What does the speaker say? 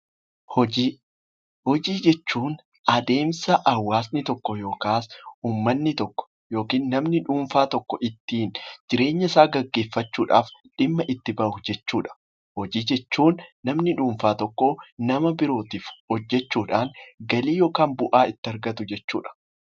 Hojii Hojii jechuun adeemsa hawaasni tokko yookiin uummanni tokko yookiin namni dhuunfaa tokko ittiin jireenya isaa geggeeffachuu dhaaf dhimma itti bahu jechuu dha. Hojii jechuun namni dhuunfaa tokko nama birootiif hojjechuu dhaan galii yookaan bu'aa itti argatu jechuu dha.